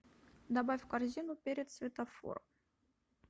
добавь в корзину перец светофор